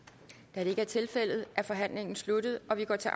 da det ikke er tilfældet er forhandlingen sluttet og vi går til